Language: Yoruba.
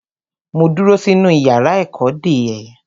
Mo dúró sínú yàrá ẹ̀kọ́ dè ẹ́.